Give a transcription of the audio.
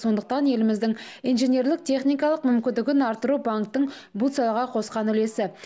сондықтан еліміздің инженерлік техникалық мүмкіндігін арттыру банктің бұл салаға қосқан үлесі